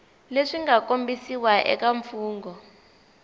leswi nga kombisiwa eka mfugnho